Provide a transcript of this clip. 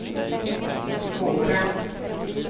svåra